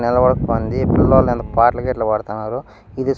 నిలబడకోంది పిల్లోళ్లు ఎనక పాట్ల గీట్ల పాడతన్నారు ఇది--